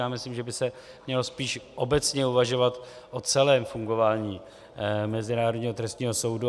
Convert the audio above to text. Já myslím, že by se mělo spíš obecně uvažovat o celém fungování Mezinárodního trestního soudu.